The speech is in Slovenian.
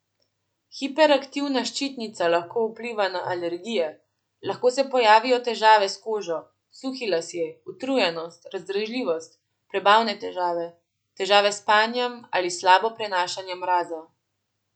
Hiperaktivna ščitnica lahko vpliva na alergije, lahko se pojavijo težave s kožo, suhi lasje, utrujenost, razdražljivost, prebavne težave, težave s spanjem ali slabo prenašanje mraza.